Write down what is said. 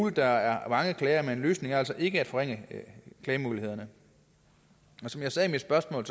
at der er mange klager men en løsning er altså ikke at forringe klagemuligheden som jeg sagde i mit spørgsmål